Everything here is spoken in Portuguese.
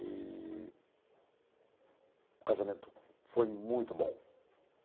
Eee... O casamento foi muito bom.